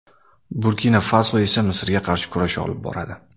Burkina-Faso esa Misrga qarshi kurash olib boradi.